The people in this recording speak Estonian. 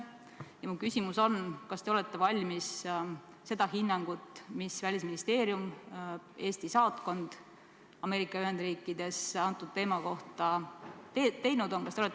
Ja mu küsimus on: kas te olete valmis avalikustama seda hinnangut, mille Välisministeerium, Eesti saatkond Ameerika Ühendriikides, antud teemal andnud on?